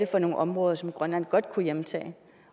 for nogle områder som grønland godt kunne hjemtage det